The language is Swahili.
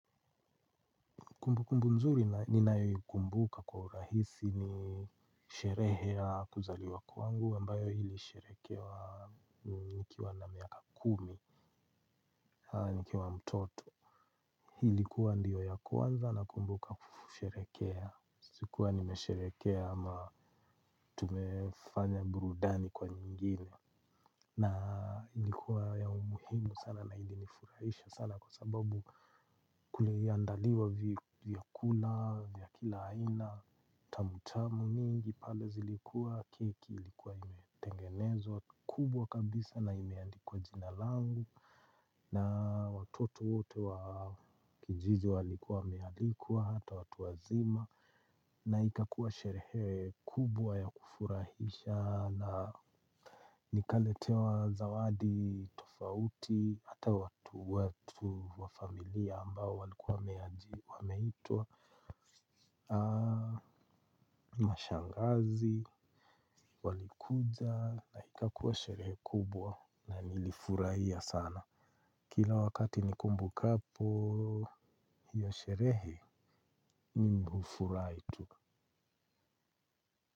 Kumbu kumbu mzuri ninayoikumbuka kwa urahisi ni sherehe ya kuzaliwa kwangu ambayo ili sherehekewa nikiwa na miaka kumi, nikiwa mtoto. Ilikuwa ndio ya kwanza nakumbuka kusherekea. Sikuwa nimesherehekea ama tumefanya burudani kwa nyingine. Na ilikuwa ya umuhimu sana na ili nifurahisha sana kwa sababu kuli andaliwa vyakula, vya kila aina. Tamutamu mingi pale zilikuwa keki ilikuwa imetengenezwa kubwa kabisa na imeandikwa jina langu. Na watoto wote wa kijiji walikuwa wame alikwa hata watu wazima. Na ikakua sherehe kubwa ya kufurahisha na nikaletewa zawadi tofauti. Hata watu watu wa familia ambao walikuwa wameitwa aaah mashangazi walikuja na ikakuwa sherehe kubwa na nilifurahia sana. Kila wakati nikumbukapo hiyo sherehe mimi hufurahi tu.